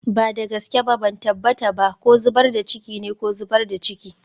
Ba da gaske ba, ban tabbata ba ko zubar da ciki ne ko zubar da ciki.